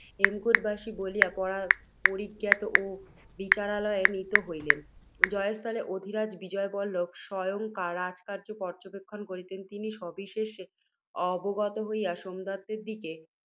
হেমকূটবাসী বলিয়া পরিজ্ঞাত ও বিচারালয়ে নীত হইলেন। জয়স্থলে অধিরাজ বিজয়বল্লভ স্বয়ং রাজকার্য্য পর্য্যবেক্ষণ করিতেন। তিনি, সবিশেষ অবগত হইয়া, সোমদত্তের দিকে